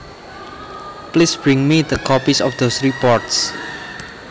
Please bring me the copies of those reports